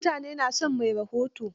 Mutane na son mai rahoton.